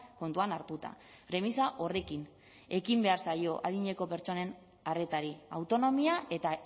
kontuan hartuta premisa horrekin ekin behar zaio adineko pertsonen arretari autonomia eta